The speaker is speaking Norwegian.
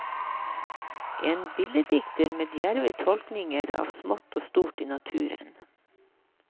En billeddikter med djerve tolkninger av smått og stort i naturen.